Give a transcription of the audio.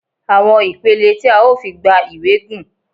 Àwọn ìpele tí a ó fi gba ìwé gùn.